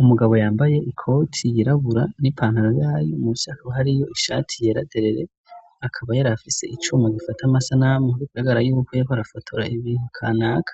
Umugabo yambaye ikoti yirabura n'ipantaro yayo mu vyaka bhari yo ishati yeraderere akaba yarafise icuma gifata amasa namu nobiko iragara yuko yaho arafotora ibintu kanaka